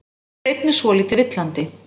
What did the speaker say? En hún er einnig svolítið villandi.